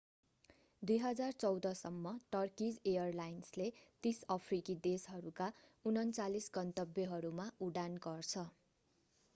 2014 सम्म टर्कीज एयरलाइन्सले 30 अफ्रिकी देशहरूका 39 गन्तव्यहरूमा उडान गर्छ